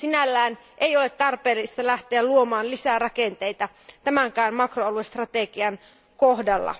Sinällään ei ole tarpeellista lähteä luomaan lisää rakenteita tämänkään makroaluestrategian kohdalla.